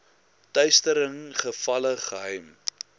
teistering gevalle geheim